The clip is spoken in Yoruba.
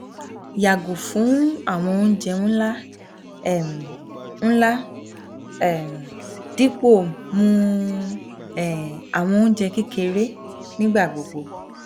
yago fun awọn ounjẹ nla um nla um dipo mu um awọn ounjẹ kekere um nigbagbogbo